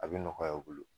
A bɛ nɔgɔya u bolo